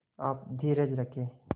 आप धीरज रखें